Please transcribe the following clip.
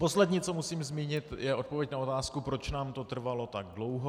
Poslední, co musím zmínit, je odpověď na otázku, proč nám to trvalo tak dlouho.